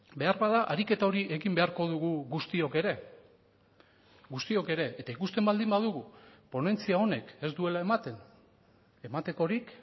beharbada ariketa hori ekin beharko dugu guztiok ere guztiok ere eta ikusten baldin badugu ponentzia honek ez duela ematen ematekorik